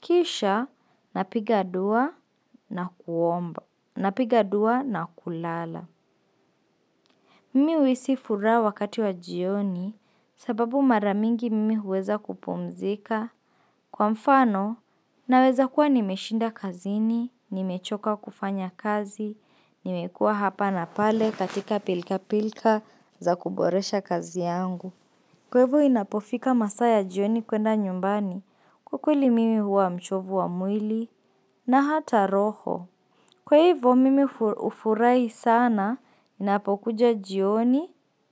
Kisha, napigadua na kuomba, napigadua na kulala. Mimi uisi furaa wakati wa jioni sababu maramingi mimi huweza kupumzika. Kwa mfano, naweza kuwa nimeshinda kazini, nimechoka kufanya kazi, nimekua hapa na pale katika pilka pilka za kuboresha kazi yangu. Kwa ivo inapofika masaya jioni kwenda nyumbani. Kwa ukweli mimi huwa mchovu wa mwili na hata roho. Kwa ivo mimi ufurai sana napokuja jioni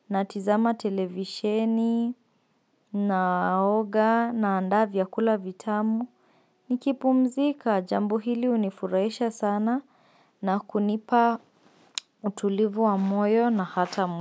na tizama televisheni na aoga na andavya kula vitamu. Nikipumzika jambo hili unifuraisha sana na kunipa utulivu wa moyo na hata mwili.